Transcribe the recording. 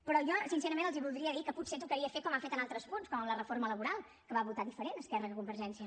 però jo sincerament els voldria dir que potser tocaria fer com ha fet en altres punts com en la reforma laboral que va votar diferent esquerra que convergència